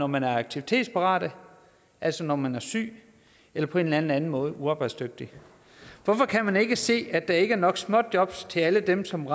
man er aktivitetsparat altså når man er syg eller på en eller anden måde uarbejdsdygtig hvorfor kan man ikke se at der ikke er nok småjobs til alle dem som